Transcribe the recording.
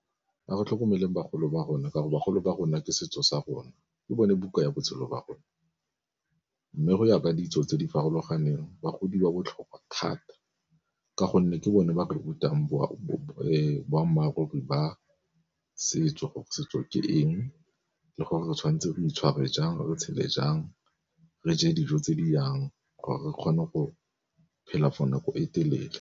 Ga go tlhokomeleng bagolo ba rona ka go bagolo ba rona ke setso sa rona ke bone buka ya botshelo ba rona, mme go ya ka ditso tse di farologaneng bagodi ba botlhokwa thata ka gonne ke bone ba rutang boammaaruri ba setso gore setso ke eng le gore re tshwanetse re itshware jang re tshele jang re je dijo tse di jang gore re kgone go phela for nako e telele.